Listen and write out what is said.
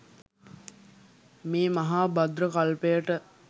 මේ මහා භද්‍ර කල්පයට